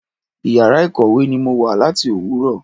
Ìyàrá ìkọ̀wé ni mo wà láti Òwúrọ̀.